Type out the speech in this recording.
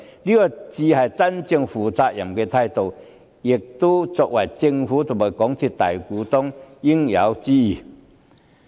這才是真正負責任的態度，也是作為政府及港鐵公司大股東的應有之義。